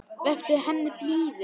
Vertu henni blíður.